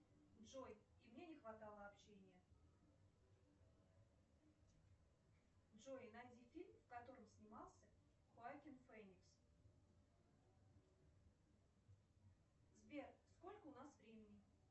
джой и мне не хватало общения джой найди фильм в котором снимался хоакин феникс сбер сколько у нас времени